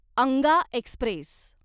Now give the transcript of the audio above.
Anga Express